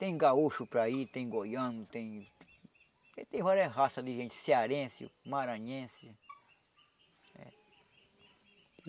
Tem gaúcho para ir, tem goiano, tem... Tem várias raças de gente, cearense, maranhense.